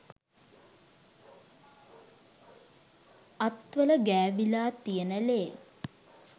අත්වල ගෑවිලා තියෙන ලේ